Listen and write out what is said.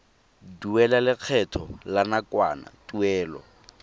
duela lekgetho la nakwana tuelo